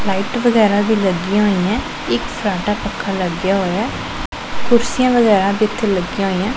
Light ਵਗੈਰਾ ਵੀ ਲੱਗੀਆਂ ਹੋਈਐਂ ਇੱਕ ਫਰਾਟਾ ਪੱਖਾ ਲੱਗੀਆਂ ਹੋਇਐ ਕੁਰਸੀਆਂ ਵਗੈਰਾ ਵੀ ਇੱਥੇ ਲੱਗੀਆਂ ਹੋਈਐਂ।